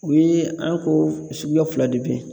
U ye an ko suguya fila de bɛ ye.